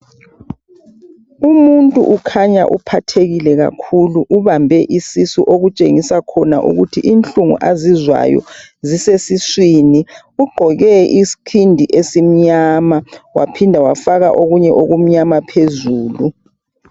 Umuntu ukhanya uphathekile kakhulu , ubambe isisu. Okutshengisa khona ukuthi inhlungu azizwayo zisesiswini .Ugqoke isikhindi esimnyama waphinda wafaka okunye okumnyama phezulu.